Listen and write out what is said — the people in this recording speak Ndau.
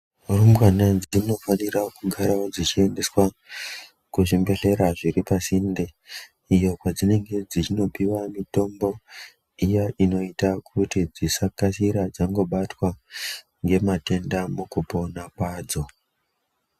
Rumbwana dzinofanira kugarawo dzichiendeswa kuzvimbedhlera zviri pasinde iyo kwadzinenge dzichinopuwa mitombo iya inoita kuti dzisakasira dzangobatwa ngematenda mukupona kwadzo.